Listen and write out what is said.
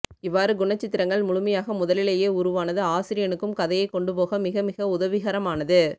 இவ்வாறுகுணச்சித்திரங்கள் முழுமையாக முதலியேயே உருவாவது ஆசிரியனுக்கும் கதையை கொண்டுபோக மிகமிக உதவிகரமானது